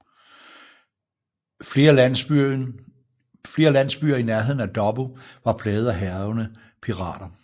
Flere landsbyer i nærheden af Dobbo var plaget af hærgende pirater